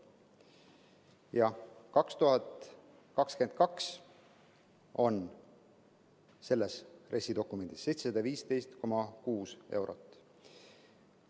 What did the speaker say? Aastaks 2022 on selles RES‑i dokumendis 715,6 eurot.